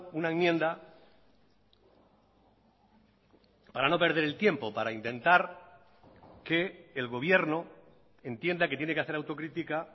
una enmienda para no perder el tiempo para intentar que el gobierno entienda que tiene que hacer autocrítica